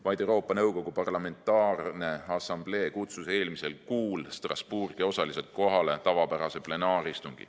Vaid Euroopa Nõukogu Parlamentaarne Assamblee kutsus eelmisel kuul Strasbourgi osaliselt kohale tavapärase plenaaristungi.